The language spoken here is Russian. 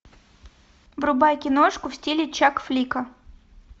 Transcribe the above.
врубай киношку в стиле чакфлика